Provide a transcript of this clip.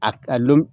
A